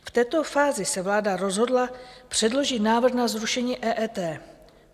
V této fázi se vláda rozhodla předložit návrh na zrušení EET.